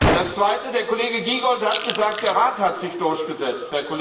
Das Zweite Der Kollege Giegold hat gesagt, der Rat hat sich durchgesetzt.